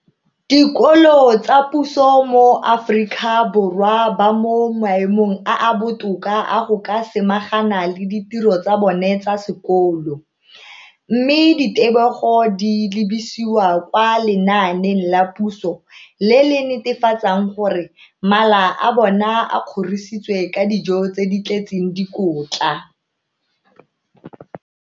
Dikolo tsa puso mo Aforika Borwa ba mo maemong a a botoka a go ka samagana le ditiro tsa bona tsa sekolo, mme ditebogo di lebisiwa kwa lenaaneng la puso le le netefatsang gore mala a bona a kgorisitswe ka dijo tse di tletseng dikotla.